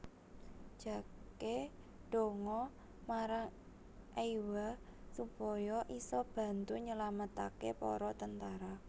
Jake ndonga marang Eywa supaya isa bantu nyelametake para tentara